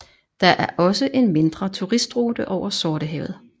Der er også en mindre turistrute over Sortehavet